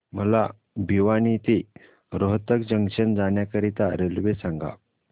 मला भिवानी ते रोहतक जंक्शन जाण्या करीता रेल्वे सांगा